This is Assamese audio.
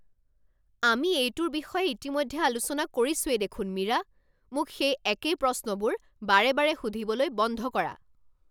আমি এইটোৰ বিষয়ে ইতিমধ্যে আলোচনা কৰিছোৱেই দেখোন মীৰা! মোক সেই একেই প্ৰশ্নবোৰ বাৰে বাৰে সুধিবলৈ বন্ধ কৰা৷